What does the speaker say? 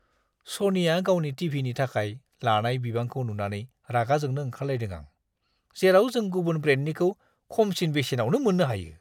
सनिया गावनि टि.भि.नि थाखाय लानाय बिबांखौ नुनानै रागा जोंनो ओंखारलायदों आं जेराव नों गुबुन ब्रेन्डनिखौ खमसिन बेसेनावनो मोन्नो हायो।